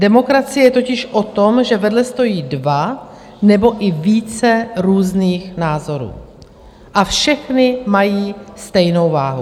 Demokracie je totiž o tom, že vedle stojí dva nebo i více různých názorů a všechny mají stejnou váhu.